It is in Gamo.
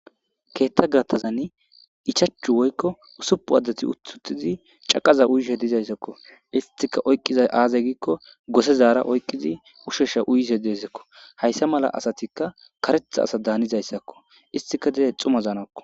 keetta gaathazanni ichachu woykko usupu addati ututizi caqaza uyishe dizayssakko istika oyqqiza aazey giikko gosezaara oyqqizi ushesha uyize deezakko hayssa mala asatikka karetha asa daanizayssakko istika didey xumazaanakko